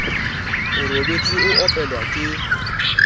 o robetse a opelwa ke